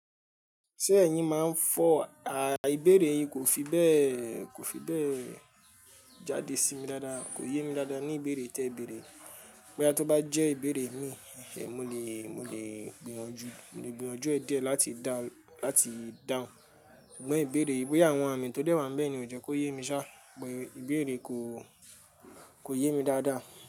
Ṣé ẹ̀yin máa ń fọ̀? À, ìbéèrè yìí kò fi bẹ́ẹ̀, kò fi bẹ́ẹ̀ jáde sí mi dáadáa, kò yé mi dáadáa ní ìbéèrè tí ẹ bèèrè. Bóyá tó bá jẹ́ ìbéèrè mi, ẹh ẹh, mo lè, mo lè gbìyànjú, mo lè gbìyànjú ẹ̀ díẹ̀ láti dá, láti dáhùn. Ṣùgbọ́n ìbéèrè, bóyá àwọn àmì tó dẹ́wà bẹ́ẹ̀ ni ò jẹ́ kó yé mi ṣá, ìbéèrè kò, kò yé mi dáadáa.